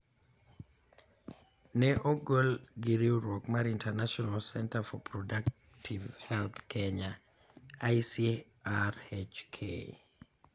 ne ogol gi riwruok mar International Centre for Reproductive Health Kenya (ICRHK).